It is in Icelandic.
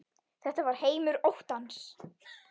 Þetta var heimur óttans.